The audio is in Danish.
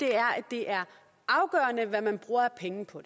er at det er afgørende hvad man bruger af penge på